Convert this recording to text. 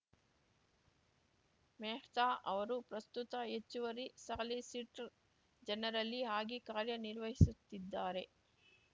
ಮೆಹ್ತಾ ಅವರು ಪ್ರಸ್ತುತ ಹೆಚ್ಚುವರಿ ಸಾಲಿಸಿಟರ್‌ ಜನರಲ್ಲಿ ಆಗಿ ಕಾರ್ಯನಿರ್ವಹಿಸುತ್ತಿದ್ದಾರೆ